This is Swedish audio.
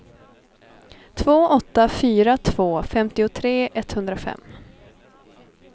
två åtta fyra två femtiotre etthundrafem